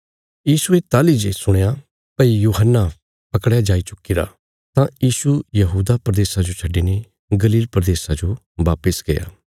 यीशुये ताहली जे सुणया भई यूहन्ना पकड़या जाई चुक्कीरा तां यीशु यहूदा प्रदेशा जो छड्डिने गलील प्रदेशा जो बापस गया